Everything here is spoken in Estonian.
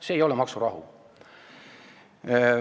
See ei ole maksurahu.